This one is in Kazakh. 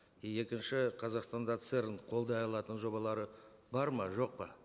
и екінші қазақстанда церн қолдай алатын жобалары бар ма жоқ па